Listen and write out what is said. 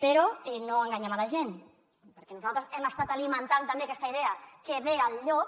però no enganyem la gent perquè nosaltres hem estat alimentant també aquesta idea que ve el llop